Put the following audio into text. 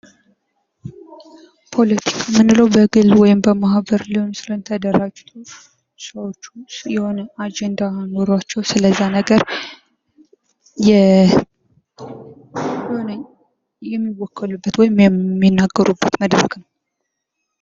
ፖለቲካ የምንለው በግል ወይም በማህበር ሊሆን ይችላል ተደራጅተው ሰዎቹ የሆነ አጀንዳ ነገር ኑሯቸው ስለዛ ነገር የሚወከሉበት ወይም የሚናገሩበት መድረክ ነው።